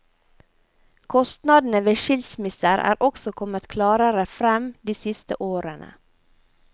Kostnadene ved skilsmisser er også kommet klarere frem de siste årene.